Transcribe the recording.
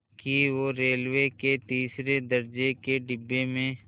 कि वो रेलवे के तीसरे दर्ज़े के डिब्बे में